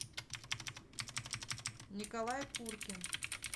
николай куркин